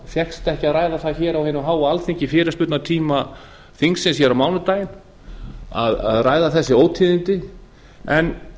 fékkst ekki að ræða það hér á hinu háa alþingi í fyrirspurnatíma þingsins hér á mánudaginn að ræða þessi ótíðindi en